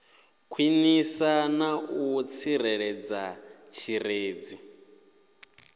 khwinisa na u tsireledza tshirunzi